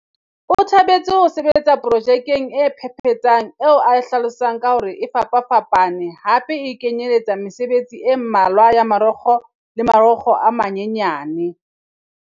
O thabetse ho sebetsa pro jekeng e phephetsang eo a e hlalosang ka hore e fapafapa ne hape e kenyeletsa mesebetsi e mmalwa ya marokgo le marokgo a manyanyane.